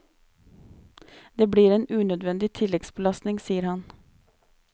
Det blir en unødvendig tilleggsbelastning, sier han.